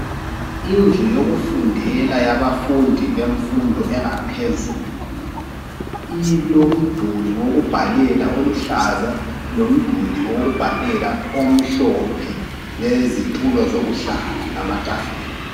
Indlu yokufundela yabafundi, bemfundo engaphezulu. Kulemiduli embili, yokubhalela, oluhlaza, lobomvu. Lezitulo ezimhlophe kanye lamatafula.